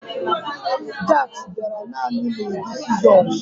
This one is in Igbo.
Jacks bịara naanị n'ụdị sịzọs